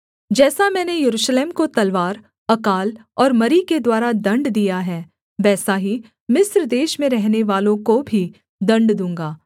जैसा मैंने यरूशलेम को तलवार अकाल और मरी के द्वारा दण्ड दिया है वैसा ही मिस्र देश में रहनेवालों को भी दण्ड दूँगा